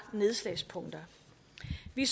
i